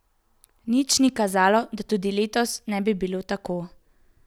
Nič ni kazalo, da tudi letos ne bi bilo tako.